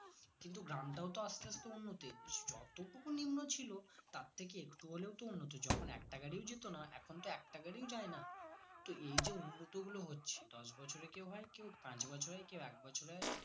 কিন্তু গ্রামটাও তো আস্তে আস্তে উন্নত হচ্ছে যতটুকু নিম্ন ছিল তার থেকে একটু হলেও তো উন্নত যখন একটা গাড়িও যেত না এখন তো একটা গাড়িও যায় না তো এই যে উন্নত গুলো হচ্ছে দশ বছরে কেউ হয় কেউ পাঁচ বছরে কেউ এক বছরে হয়তো